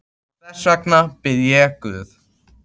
Og þess vegna bið ég guð.